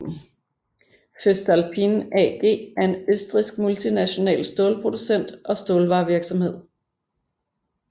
Voestalpine AG er en østrigsk multinational stålproducent og stålvarevirksomhed